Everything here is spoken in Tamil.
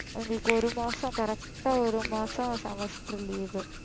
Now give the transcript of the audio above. எங்களுக்கு ஒரு மாசம் correct ஆ ஒரு மாசம் semester leave உ